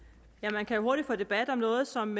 man kan hurtigt få debat om noget som